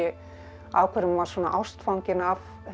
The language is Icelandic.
af hverju hún var svona ástfangin af